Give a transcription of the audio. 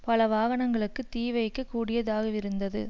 பல வாகனங்களுக்கு தீ வைக்க கூடியதாகவிருந்தது